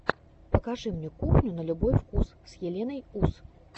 покажи мне кухню на любой вкус с еленой ус